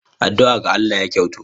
Addu'a ga Allah ya kyautu.